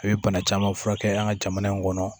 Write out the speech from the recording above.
A bɛ bana caman furakɛ an ka jamana in kɔnɔ